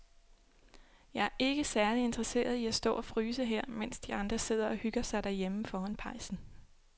Jeg er ikke særlig interesseret i at stå og fryse her, mens de andre sidder og hygger sig derhjemme foran pejsen.